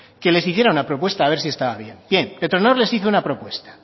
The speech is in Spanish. que les hiciera una propuesta a ver si estaba bien petronor les hizo una propuesta